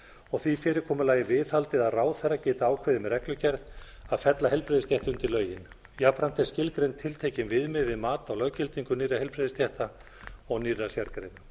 og því fyrirkomulagi viðhaldið að ráðherra geti ákveðið með reglugerð að fella heilbrigðisstétt undir lögin jafnframt er skilgreind tiltekin viðmið við mat á löggildingu nýrra heilbrigðisstétta og nýrra sérgreina